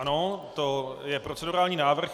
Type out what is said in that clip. Ano, to je procedurální návrh.